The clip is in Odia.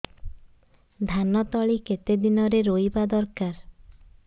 ଧାନ ତଳି କେତେ ଦିନରେ ରୋଈବା ଦରକାର